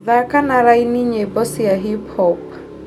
thaaka na laini nyĩmbo cia hip hop